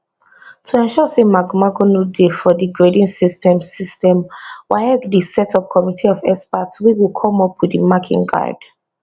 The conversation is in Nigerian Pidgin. to ensure say magomago no dey for di grading system system waec dey set up committee of experts wey go come up wit di marking guide